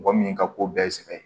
Mɔgɔ min ka ko bɛɛ sɛbɛn